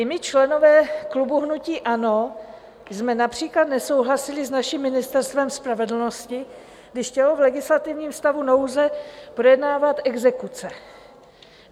I my, členové klubu hnutí ANO, jsme například nesouhlasili s naším Ministerstvem spravedlnosti, když chtělo v legislativním stavu nouze projednávat exekuce.